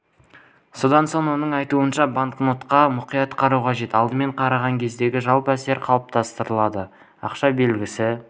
содан соң оның айтуынша банкнотқа мұқият қарау қажет алдымен қараған кездегі жалпы әсер қалыптастырылады ақша белгісі